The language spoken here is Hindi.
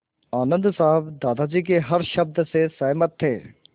आनन्द साहब दादाजी के हर शब्द से सहमत थे